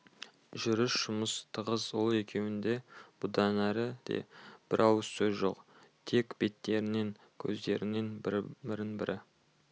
жүріс жұмыс тығыз ол екеуінде бұдан әрі де бір ауыз сөз жоқ тек беттерінен көздерінен бірін-бірі